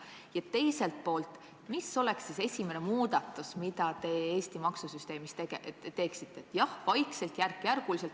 Ja teiselt poolt: mis oleks esimene muudatus, mille te vaikselt, järk-järgult Eesti maksusüsteemis teeksite?